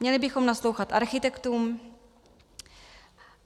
Měli bychom naslouchat architektům.